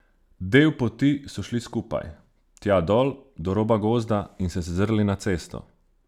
Del poti so šli skupaj, tja dol, do roba gozda, in se zazrli na cesto.